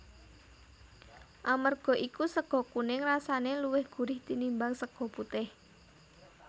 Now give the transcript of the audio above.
Amarga iku sega kuning rasane luwih gurih tinimbang sega putih